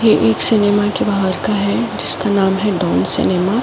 एक सिनेमा के बाहर का है जिसका नाम है डॉन सिनेमा ।